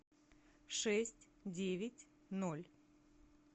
шесть девять ноль